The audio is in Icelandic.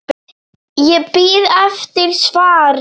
Ég bíð eftir svari.